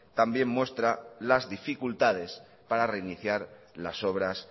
también muestra las dificultades para reiniciar las obras